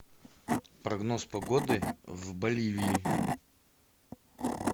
прогноз погоды в боливии